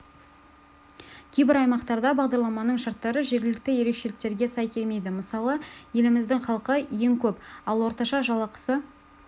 кейбір аймақтарда бағдарламаның шарттары жергілікті ерекшеліктерге сай келмейді мысалы еліміздің халқы ең көп ал орташа жалақысы